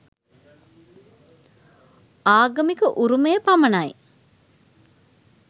ආගමික උරුමය පමණයි